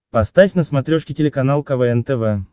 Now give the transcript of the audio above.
поставь на смотрешке телеканал квн тв